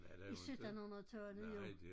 I 1700-tallet jo